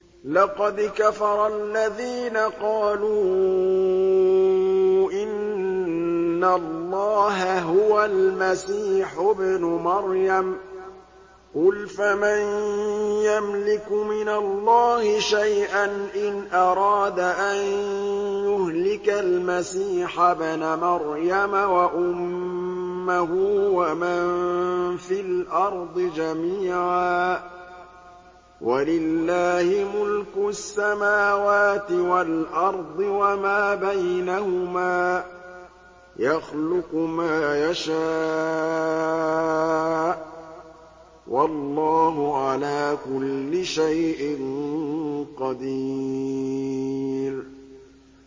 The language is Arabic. لَّقَدْ كَفَرَ الَّذِينَ قَالُوا إِنَّ اللَّهَ هُوَ الْمَسِيحُ ابْنُ مَرْيَمَ ۚ قُلْ فَمَن يَمْلِكُ مِنَ اللَّهِ شَيْئًا إِنْ أَرَادَ أَن يُهْلِكَ الْمَسِيحَ ابْنَ مَرْيَمَ وَأُمَّهُ وَمَن فِي الْأَرْضِ جَمِيعًا ۗ وَلِلَّهِ مُلْكُ السَّمَاوَاتِ وَالْأَرْضِ وَمَا بَيْنَهُمَا ۚ يَخْلُقُ مَا يَشَاءُ ۚ وَاللَّهُ عَلَىٰ كُلِّ شَيْءٍ قَدِيرٌ